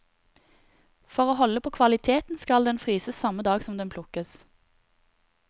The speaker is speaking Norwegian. For å holde på kvaliteten skal den fryses samme dag den plukkes.